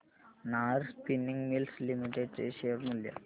Nahar spinning mills limited चे share मूल्य